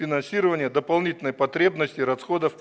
финансирование дополнительной потребности расходов